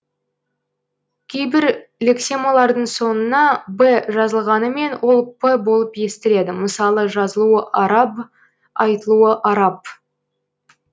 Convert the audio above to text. кейбір лексемалардың соңына б жазылғанымен ол п болып естіледі мысалы жазылуы араб айтылуы арап